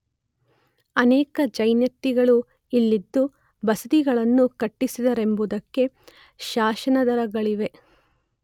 ಅನೇಕ ಜೈನಯತಿಗಳು ಇಲ್ಲಿದ್ದು ಬಸದಿಗಳನ್ನುಕಟಿಸಿದ್ದರೆಂಬುದಕ್ಕೂ ಶಾಸನಾಧಾರಗಳಿವೆ.